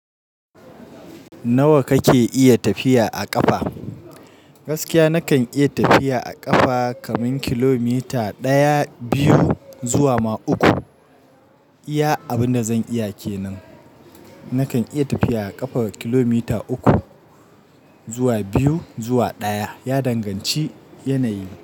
Nawa kake iya tafiya a ƙafa? Gaskiya nakan iya tafiya a ƙafa kaman kilomita ɗaya, biyu zuwa ma uku. Iya, abin da zan iya ke nan. Nakan iya tafiya a ƙafa kilomita uku zuwa biyu zuwa ɗaya. Ya danganci yanayi.